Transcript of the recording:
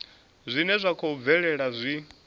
zwine zwa khou bvelela zwi